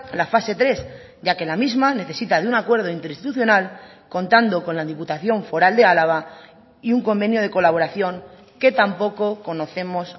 la fase tres ya que la misma necesita de un acuerdo interinstitucional contando con la diputación foral de álava y un convenio de colaboración que tampoco conocemos